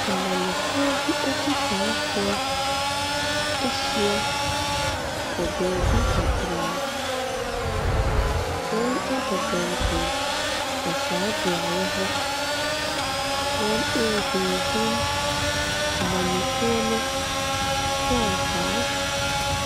Amanyɔfoɔ bi akyitaafoɔ ahyia wɔ beebi kakra. Wɔabɔ dɔmpem wɔ saa beaeɛ hɔ. wɔrehinhim amanyɔkuo no frankaa.